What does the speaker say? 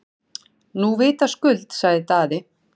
Nú vitaskuld, sagði Daði.